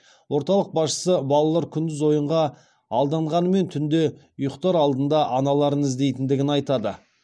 орталық басшысы балалар күндіз ойынға алданғанымен түнде ұйықтар алдында аналарын іздейтіндігін айтады